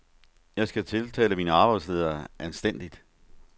Jeg skal tiltale min arbejdsleder anstændigt.